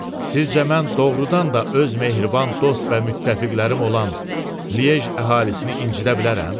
Sizcə mən doğrudan da öz mehriban dost və müttəfiqlərim olan Lyej əhalisini incidə bilərəm?